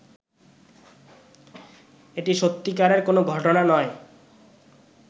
এটি সত্যিকারের কোনো ঘটনা নয়